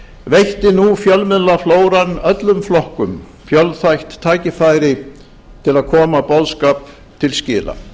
veitti nú fjölmiðlaflóran öllum flokkum fjölþætt tækifæri til að koma boðskap til skila